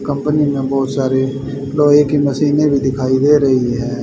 Company में बहुत सारी लोहे की मशीनें भी दिखाई दे रही हैं।